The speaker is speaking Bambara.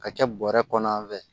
Ka kɛ bɔrɛ kɔnɔ an fɛ